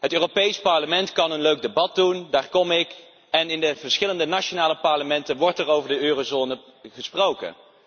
Het Europees Parlement kan een leuk debat voeren, daar kom ik voor en ook in de verschillende nationale parlementen wordt er over de eurozone gesproken.